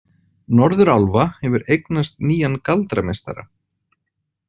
Norðurálfa hefur eignast nýjan galdrameistara.